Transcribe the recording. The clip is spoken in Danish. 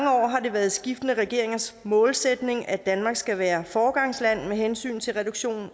været skiftende regeringers målsætning at danmark skal være foregangsland med hensyn til reduktion